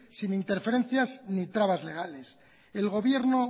sin interferencias ni trabas legales el gobierno